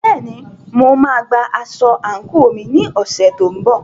Bẹ́ẹ̀ni, mo máa gba aṣọ àǹkóò mi ní ọ̀sẹ̀ tó ń bọ̀.